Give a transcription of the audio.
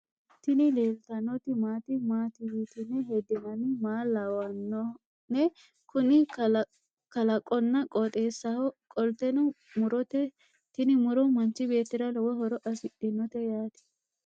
Tini leeltannoti maati? maati yitine heddinanni? Maa lawanno'ne? Kuni kalaqonna qooxeessaho qolteno murote tini muro manchi beettira lowo horo afidhinote yaate.